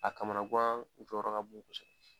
A kamanan gan jɔyɔrɔ ka bon kosɛbɛ.